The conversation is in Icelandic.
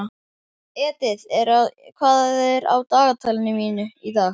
Edith, hvað er á dagatalinu í dag?